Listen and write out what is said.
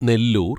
Nellore